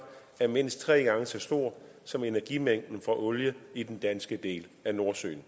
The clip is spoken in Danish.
er mindst tre gange så stort som energimængden fra olie i den danske del af nordsøen